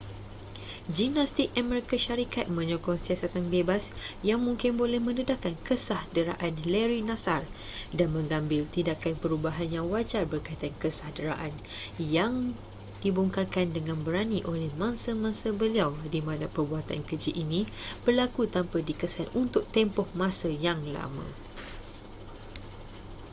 gimnastik amerika syarikat menyokong siasatan bebas yang mungkin boleh mendedahkan kesah deraan larry nassar dan mengambil tindakan perubahan yang wajar berkaitan kesah deraan yang dibongkarkan dengan berani oleh mangsa-mangsa beliau di mana perbuatan keji ini berlaku tanpa dikesan untuk tempoh masa yang lama